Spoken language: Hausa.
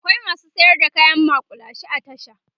akwai masu sayar da kayan maƙulashe a tasha